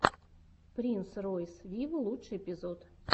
принс ройс виво лучший эпизод